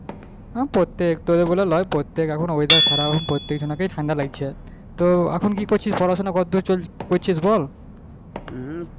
প্রত্যেক তোর বলে লয় প্রত্যেকে এখন খারাপ প্রত্যেক জনাকেই ঠান্ডা লাগছে তো এখন কি করছিস পড়াশোনা কতদূর চলছে করছিস বল,